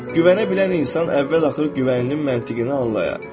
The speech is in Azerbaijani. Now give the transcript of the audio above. Güvənə bilən insan əvvəl-axır güvənin məntiqini anlayar.